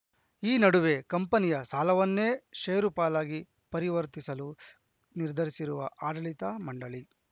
ಈ ನಡುವೆ ಕಂಪನಿಯ ಸಾಲವನ್ನೇ ಷೇರುಪಾಲಾಗಿ ಪರವರ್ತಿಸಲು ನಿರ್ಧರಿಸಿರುವ ಆಡಳಿತ ಮಂಡಳಿ